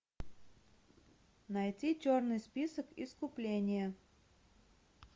найти черный список искупление